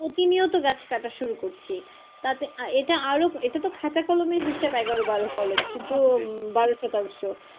প্রতিনিয়ত গাছ কাটা শুরু করছি তাতে এটা আরও, এটা তো খাতা কলমের হিসেব এগারো বারো কলম কিন্তু বারো শতাংশ